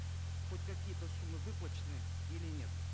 хоть какие то суммы выплачены или нет